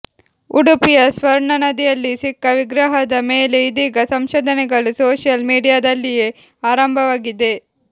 ಉಡುಪಿಯ ಸ್ವರ್ಣನದಿಯಲ್ಲಿ ಸಿಕ್ಕ ವಿಗ್ರಹದ ಮೇಲೆ ಇದೀಗ ಸಂಶೋಧನೆಗಳು ಸೋಶಿಯಲ್ ಮೀಡಿಯಾದಲ್ಲಿಯೇ ಆರಂಭವಾಗಿದೆ